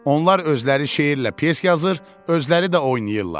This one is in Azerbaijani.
Onlar özləri şeirlə, pyes yazır, özləri də oynayırlar.